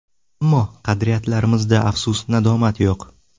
Ammo qadriyatlarimizda afsus-nadomat yo‘q.